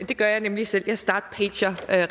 det gør jeg nemlig selv jeg startpager